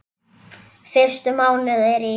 Fyrstu mánuðir í